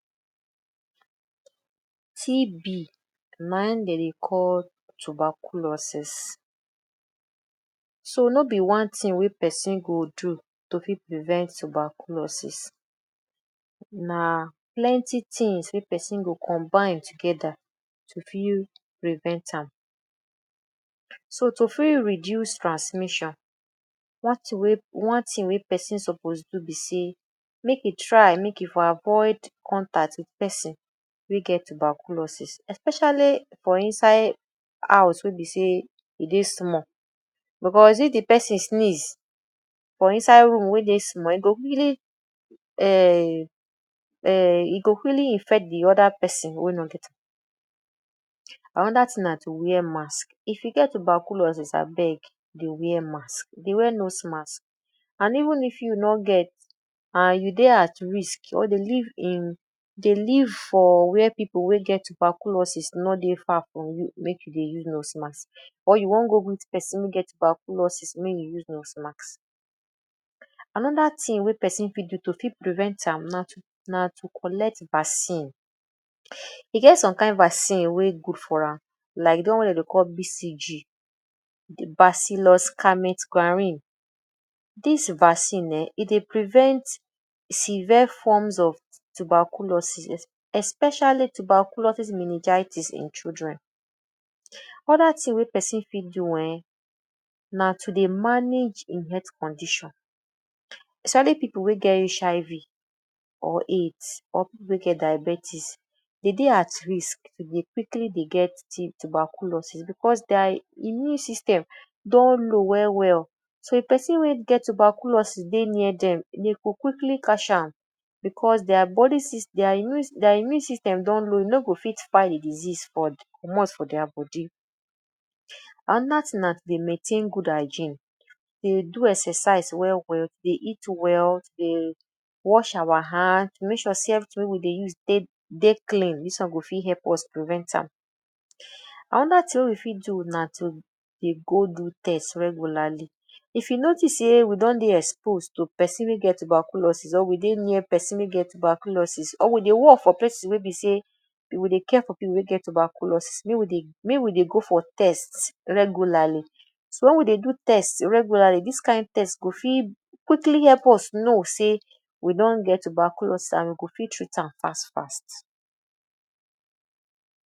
TB na im dey dey call Tuberculosis. So no be one thing person go do to fit prevent tuberculosis, na plenty things dey person go combine together to fit prevent am. So to fit reduce transmission one thing wey one thing wey person suppose do be sey make e try make e dey avoid contact wit person wey get tuberculosis especially for inside house wey be sey e dey small because if de person sneeze for inside room wey dey small e go really um e go really infect de other person wey no get am. Another thing na to wear mask; if you get tuberculosis abeg dey wear mask, dey wear nose mask and even if you no get and you dey at risk or dey live in dey live for where pipu wey get tuberculosis no dey far from you make you dey use nose mask or you wan go greet person wey get tuberculosis make you use nose mask. Another thing wey person fit do to fit prevent am na to na to collect vaccine. E get some kain vaccine wey good for am like de one wey dem call BCG,?. Dis vaccine um e dey prevent severe forms of tuberculosis especially tuberculosis meningitis in children. Other thing wey person fit do um na to dey manage im health condition especially pipu wey get HIV or AIDS or pipu wey get diabetes dey dey at risk to dey quickly dey get t tuberculosis because their immune system don low well well so if person wey get tuberculosis dey near dem dem go quickly catch am because their body? their immune their immune system don low e no go fit fight de disease comot for their body. Another thing na to dey maintain good hygiene, dey go exercise well well, dey eat well, dey wash our hand make sure sey everything wey we dey use dey clean, dis one go fit help us prevent am. Another thing wey we fit do na to dey go do test regularly. If you notice sey we don dey expose to person wey get tuberculosis or we dey near person wey get tuberculosis or we dey work for person wey be sey or we dey care for person wey get tuberculosis make we dey make we dey go for test regularly. So wen we dey do test regularly dis kain test go quickly help ,us know sey we don get tuberculosis and we go fit treat am fast fast.